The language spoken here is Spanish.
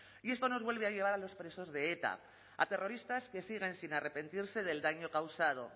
y esto nos vuelve a llevar a los presos de eta a terroristas que siguen sin arrepentirse del daño causado